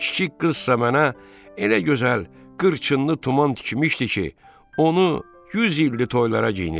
Kiçik qızsa mənə elə gözəl qırçınlı tuman tikmişdi ki, onu 100 ildir toylara geyinirəm.